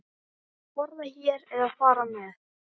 Borða hér eða fara með?